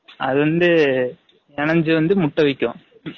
அது வந்து எனஞ்சு வந்து முட்டை வைக்கும்